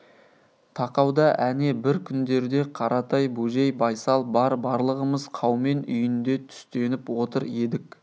тақауда әне бір күндерде қаратай бөжей байсал бар барлығымыз қаумен үйінде түстеніп отыр едік